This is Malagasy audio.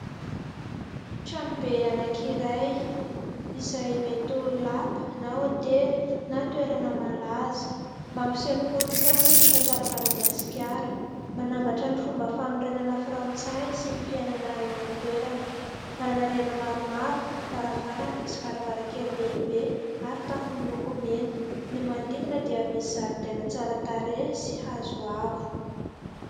Tranobe anankiray izay mety ho lapa na hotely na toerana malaza mampiseho ny kolontsaina sy ny tantaran'i Madagasikara, manambatra ny fomba fanorenana frantsay sy ny fiainana eo an-toerana, manana rihana maromaro, varavarana sy varavarankely lehibe ary tafo miloko mena ny manodidina dia misy zaridaina tsara tarehy sy hazo avo.